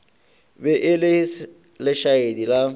be e le lešaedi la